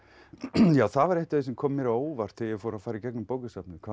já það var eitt af því sem kom mér á óvart þegar ég fór að fara í gegnum bókasafnið hvað